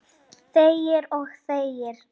Þegir og þegir.